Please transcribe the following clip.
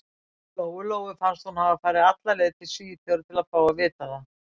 Lóu-Lóu fannst hún hafa farið alla leið til Svíþjóðar til að fá að vita það.